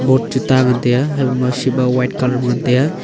boat chu ta ngan tai a habo ship a white colour ma ngan tai a.